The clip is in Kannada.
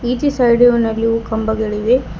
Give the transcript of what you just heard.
ಈಚೆ ಸೈಡಿಯು ನಲ್ಲಿ ಹೂ ಕಂಬಗಳಿವೆ.